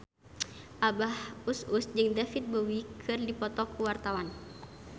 Abah Us Us jeung David Bowie keur dipoto ku wartawan